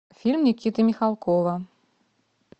фильм никиты михалкова